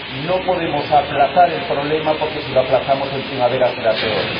No podemos aplazar el problema porque, si lo aplazamos, en primavera será peor.